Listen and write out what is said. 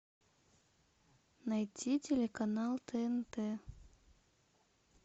найти телеканал тнт